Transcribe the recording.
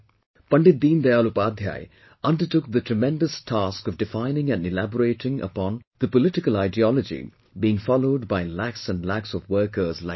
Pandit Deen Dayal Upadhyay undertook the tremendous task of defining and elaborating upon the political ideology being followed by lakhs and lakhs of workers like me